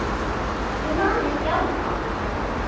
Ég man ekki annað.